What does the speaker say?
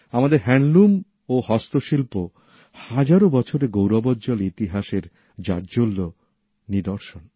আমাদের হ্যান্ডলুম ও হস্তশিল্প হাজারো বছরের গৌরবজ্জল ইতিহাসের উজ্জ্বল নিদর্শন